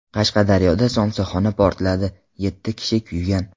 Qashqadaryoda somsaxona portladi, yetti kishi kuygan.